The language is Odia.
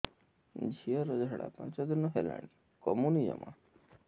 ଝିଅର ଝାଡା ପାଞ୍ଚ ଦିନ ହେଲାଣି କମୁନି ଜମା